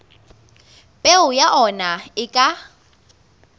peo ya ona e ka